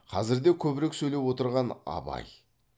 қазірде көбірек сөйлеп отырған абай